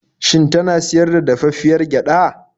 Shin tana siyar da dafaffiyar gyaɗa?